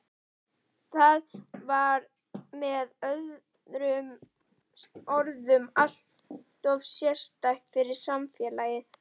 Það var með öðrum orðum alltof sérstakt fyrir samfélagið.